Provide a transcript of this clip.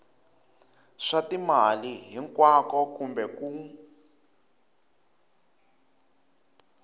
swa timali hinkwako kumbe kun